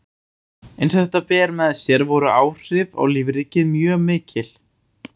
Eins og þetta ber með sér voru áhrif á lífríkið mjög mikil.